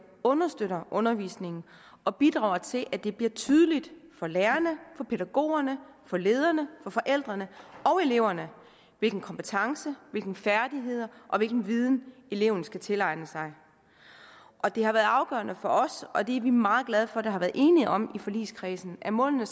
understøtter undervisningen og bidrager til at det bliver tydeligt for lærerne pædagogerne lederne forældrene og eleverne hvilke kompetencer hvilke færdigheder og hvilken viden eleven skal tilegne sig og det har været afgørende for os og vi er meget glade for at der har været enighed om i forligskredsen at målene